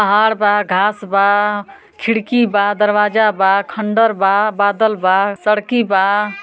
हर बा घास बा खिड़की बा दरवाजा बा खंडर बा बादल बा सड़की बा।